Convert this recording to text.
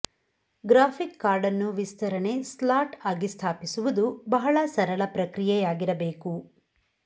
graphics card ಅನ್ನು ವಿಸ್ತರಣೆ slot ಆಗಿ ಸ್ಥಾಪಿಸುವುದು ಬಹಳ ಸರಳ ಪ್ರಕ್ರಿಯೆಯಾಗಿರಬೇಕು